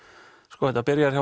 sko þetta byrjar hjá